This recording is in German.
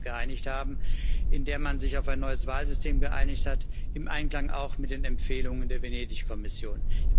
8. März geeinigt haben, in der man sich auf ein neues Wahlsystem geeinigt hat im Einklang auch mit den Empfehlungen der Venedig Kommission.